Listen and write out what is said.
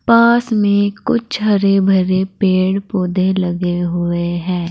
पास में कुछ हरे भरे पेड़ पौधे लगे हुए हैं।